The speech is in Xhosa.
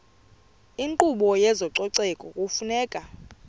inkqubo yezococeko kufuneka